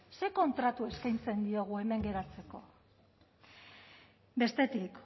zer kontratua eskaintzen diegu hemen geratzeko bestetik